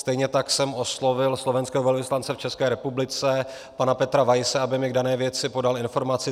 Stejně tak jsem oslovil slovenského velvyslance v České republice pana Petera Weisse, aby mi k dané věci podal informaci.